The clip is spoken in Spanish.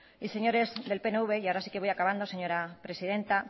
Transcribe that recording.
señores del pnv y ahora sí que voy acabando señora presidenta